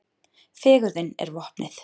Fegurðin er vopnið.